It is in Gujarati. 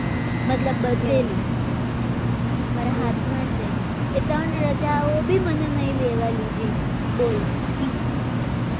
મતલબ મારા હાથમાં છે એ ત્રણ રજા આવી મને નહીં દીધી બોલો